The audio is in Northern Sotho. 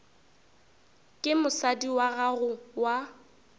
ke mosadi wa gago wa